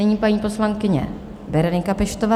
Nyní paní poslankyně Berenika Peštová.